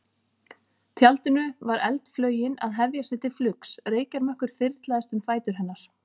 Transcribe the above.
tjaldinu var eldflaugin að hefja sig til flugs, reykjarmökkur þyrlaðist um fætur hennar.